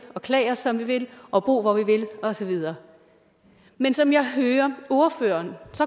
og klæde os som vi vil og bo hvor vi vil og så videre men som jeg hører ordføreren